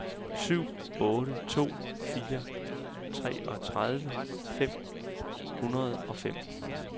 syv otte to fire treogtredive fem hundrede og fem